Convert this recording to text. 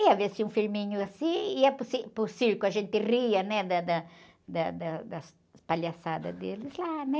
Ia ver-se um filminho assim, ia para o cir, para o circo, a gente ria, né? Da, da, da, da, das palhaçadas deles lá, né?